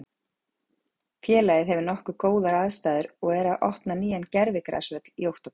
Félagið hefur nokkuð góðar aðstæður og er að opna nýjan gervigrasvöll í október.